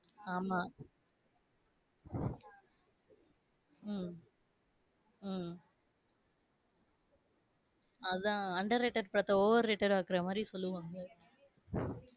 ஆமா. உம் உம் அதான் under rated படத்த overrated அ ஆக்குறமாதிரி சொல்லுவாங்க .